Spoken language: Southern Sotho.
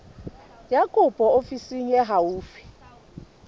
ya kopo ofising e haufi